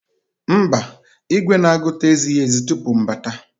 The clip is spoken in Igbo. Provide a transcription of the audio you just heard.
Mba, igwe na-agụta ezighi ezi tupu m abata.